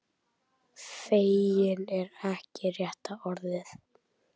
Feginn er ekki rétta orðið.